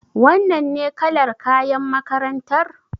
Wannan ne kalar kayan makarantar?